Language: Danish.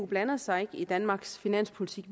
blande sig i danmarks finanspolitik